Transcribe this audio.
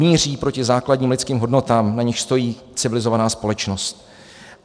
Míří proti základním lidským hodnotám, na nichž stojí civilizovaná společnost.